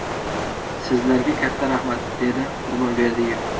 Sizlarga katta rahmat!” – dedi Qurbon Berdiyev.